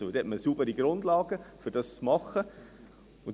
Und dann hat man eine saubere Grundlage, um das zu tun.